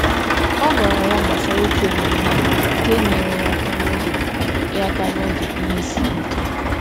Ọ gwara ya gbasara otu enyemaka nke nyere ya aka n’oge ya aka n’oge ihe siri ike.